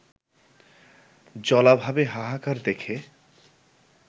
জলাভাবে হাহাকার দেখে